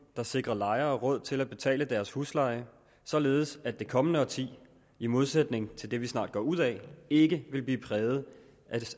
der sikrer lejere råd til at betale deres husleje således at det kommende årti i modsætning til det vi snart går ud af ikke vil blive præget